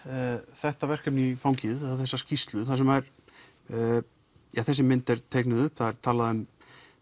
þetta verkefni í fangið þessa skýrslu þar sem þessi mynd er teiknuð upp það er talað um